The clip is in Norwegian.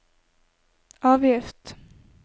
avgift